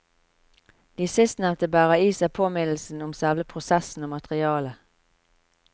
De sistnevnte bærer i seg påminnelsen om selve prosessen og materialet.